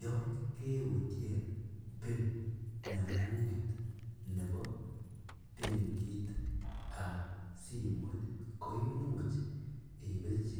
Yoon keutien pin nengung ngeet nebo benkiit ab simoit ko imuuch ibirchi